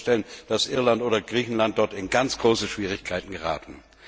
Ich kann mir vorstellen, dass Irland oder Griechenland dabei in ganz große Schwierigkeiten geraten.